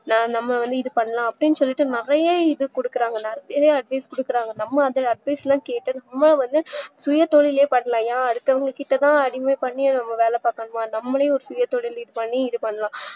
நா நம்ப வந்து இதுபண்ணலாம் அப்டின்னு சொல்லிட்டு நறைய இதுகுடுக்குறாங்க நறைய advice குடுக்குறாங்க நம்மஅந்த advice ல கேட்டு நம்ம வந்து சுயதொழிலே பண்ணலாம் அடுத்தவங்ககிட்டதான் பண்ணைல வேல பாக்கணுமா நம்மலே சுயதொழில் பண்ணி இதுபண்ணலாம்